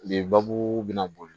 Nin babu bɛna boli